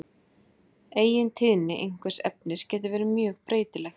Eigintíðni einhvers efnis getur verið mjög breytileg.